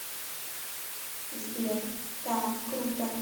сбер да круто